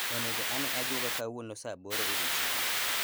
Onego ane ajuoga kawuono saa aboro odiechieng'